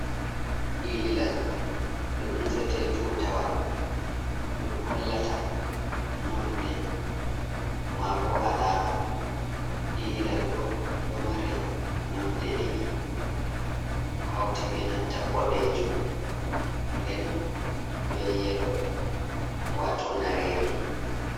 Ililal ɗum nufete tutawal. Ɗum hollata nonɗe, ma ɓo alama. Ililal ɗo, ɗo mari nonɗe ɗiɗi, hauti ɓe nanta ɓodejum, nɗen ɓe yelo wato nareri.